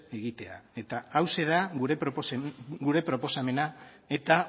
egitea eta hauxe da gure proposamena eta